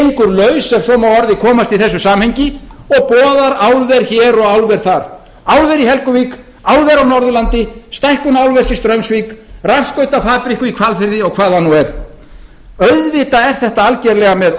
gengur laus ef svo má að orði komast í þessu samhengi og boðar álver hér og álver þar álver í helguvík álver á norðurlandi stækkun álvers í straumsvík rafskautafabrikku í hvalfirði og hvað það nú er auðvitað er þetta algerlega með